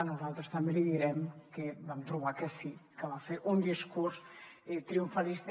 nosaltres també li direm que vam trobar que sí que va fer un discurs triomfa lista